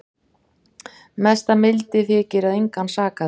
Mesta mildi þykir að engan sakaði